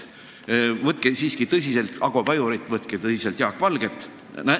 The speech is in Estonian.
Võtke tõsiselt Ago Pajurit, võtke tõsiselt Jaak Valget.